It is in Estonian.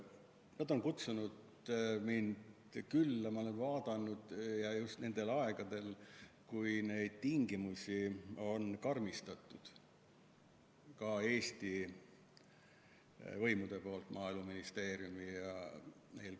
Nad on kutsunud mind külla, ma olen olukorda vaadanud, ja seda just nendel aegadel, kui neid tingimusi on Eesti võimud, eelkõige Maaeluministeerium karmistanud.